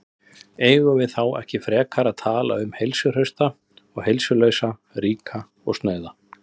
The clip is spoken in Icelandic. Eigum við þá ekki frekar að tala um heilsuhrausta og heilsulausa, ríka og snauða?